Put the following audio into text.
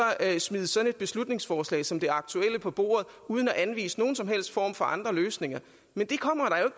smide sådan et beslutningsforslag som det aktuelle på bordet uden at anvise nogen som helst form for andre løsninger men det kommer